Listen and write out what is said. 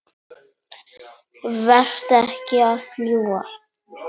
Vertu ekki að ljúga!